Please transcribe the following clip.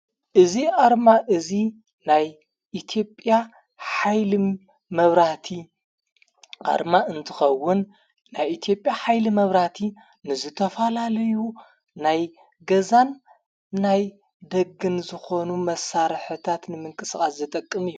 እዝ ኣርማ እዙይ ናይ ኢትጵያ ኃይል መብራቲ ኣርማ እንትኸውን ናይ ኢቲጴያ ኃይሊ መብራቲ ንዘተፋላለዩ ናይ ገዛን ናይ ደገን ዝኾኑ መሣረሕታት ንምንቅስቓስ ዝጠቅም እዩ።